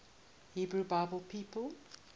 hebrew bible people